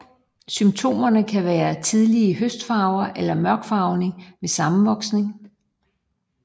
Symptomerne kan være tidlige høstfarver eller mørkfarvning ved sammenvoksningen